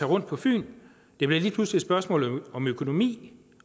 rundt på fyn det bliver lige pludselig et spørgsmål om økonomi